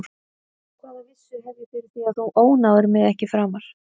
Hvaða vissu hef ég fyrir því að þú ónáðir mig ekki framar?